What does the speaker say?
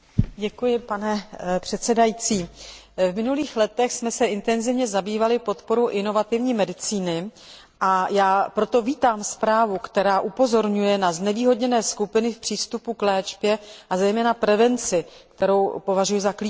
Pane předsedající, v minulých letech jsme se intenzivně zabývali podporou inovativní medicíny, a já proto vítám zprávu, která upozorňuje na znevýhodněné skupiny v přístupu k léčbě a zejména prevenci, kterou považuji za klíčovou.